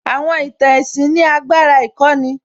Àwọn ìtàn ẹ̀sìn ní agbára ìkọ́ni